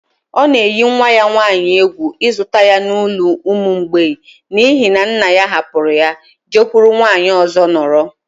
Ọ na eyi nwa ya nwaanyị egwu ịzụta ya na n’ụlọ ụmụ mgbei n’ihi na nna ya hapụrụ ha jekwuru nwaanyị ọzọ nọrọ